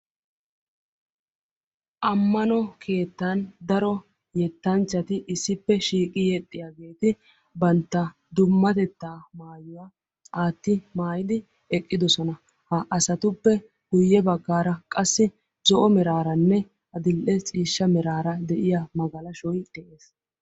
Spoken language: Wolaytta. Ammano keettan daro yettanchchati issippe shiiqidi yexxiyageeti bantta dummatettaa maayuwa aatti maayidi eqqidosona. Ha asatuppe guyye baggaara qassi zo'o meraaranne adill'e ciishsha de'iya magalashoyi de'es.